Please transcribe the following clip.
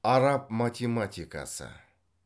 араб математикасы